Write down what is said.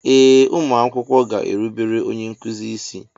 Ee ụmụ akwụkwọ ga-erubere onye nkuzi isi.